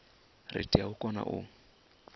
ri tea u kona u